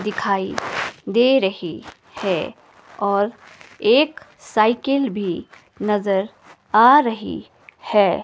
दिखाई दे रही है और एक साइकिल भी नजर आ रही है।